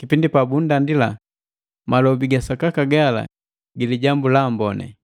kipindi pa bundandila malobi ga sakaka gala gi Lijambu la Amboni.